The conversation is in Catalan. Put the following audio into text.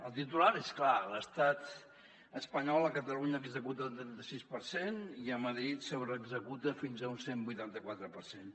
el titular és clar l’estat espanyol a catalunya executa el trenta sis per cent i a madrid sobreexecuta fins a un cent i vuitanta quatre per cent